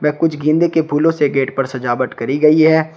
कुछ गेंदे के फूलो से गेट पर सजावट करी गई है।